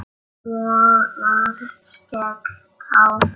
Svo var skellt á.